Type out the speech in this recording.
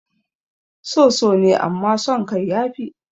So so ne amman san kai ya fi